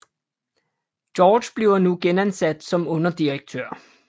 George bliver nu genansat som underdirektør